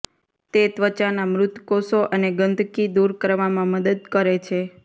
તે ત્વચાના મૃત કોષો અને ગંદકી દૂર કરવામાં મદદ કરે છે